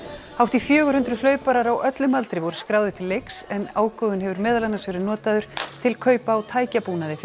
hátt í fjögur hundruð hlauparar á öllum aldri voru skráðir til leiks en ágóðinn hefur meðal annars verið notaður til kaupa á tækjabúnaði fyrir